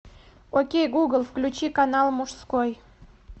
окей гугл включи канал мужской